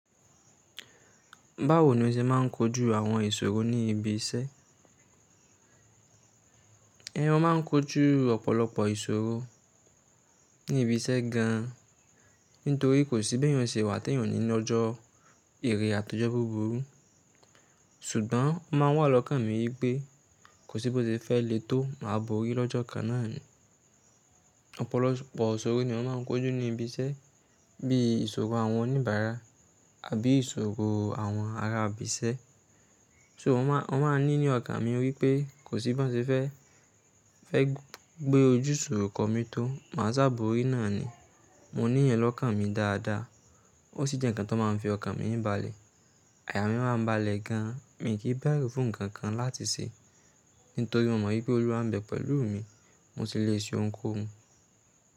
Báwo ni o ṣe máà ń kojú àwọn ìṣòro ní ibi iṣẹ́? Eeyàn máà ń kojú ọ̀pọ̀lọpọ̀ ìṣòro ní ibi iṣẹ́ gan an nítorí kò sí béèyàn ṣe wà tèèyàn ò ní nọjọ́ irè àtọjọ́ búburú. Ṣùgbọ́n ń máa ń wà lọ́kàn mi wípé kò sí bóse fẹ́ lè tó máa borí lọ́jọ́ kan náà ni. Ọ̀pọ̀lọpọ̀ ìṣòro niyan máà ń kojú ní ibi iṣẹ́, bí i ìṣòro àwọn oníbàárà àbí ìṣòro àwọn ará ibi iṣẹ́. So, mo máa ń, mo máa ń ní ní ọkàn mi wípé kò sí bọ́n ṣe fẹ́, fẹ́ gbé ojú sọ kómi tó, máa sá borí náà ni mo níyẹn lọ́kàn mi dáadáa. O sí jẹ́ ǹkan tó máa ń fi ọkàn mi i balẹ̀. Àyà mi máa ń balẹ̀ gan, mi i kì ń bẹ̀rù fún ǹkankan láti ṣe nítorí mo mọ̀ wípé Olúwa ń bẹ pẹ̀lú mi, mo sì lè ṣe ohunkóhun.